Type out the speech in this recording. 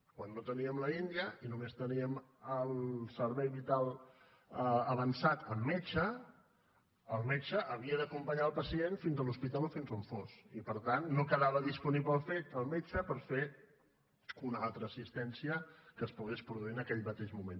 quan no teníem l’india i només teníem el servei vital avançat amb metge el metge havia d’acompanyar el pacient fins a l’hospital o fins on fos i per tant no quedava disponible el metge per fer una altra assistència que es pogués produir en aquell mateix moment